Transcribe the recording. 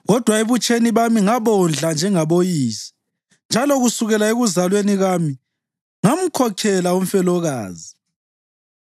kodwa ebutsheni bami ngabondla njengaboyise, njalo kusukela ekuzalweni kwami ngamkhokhela umfelokazi,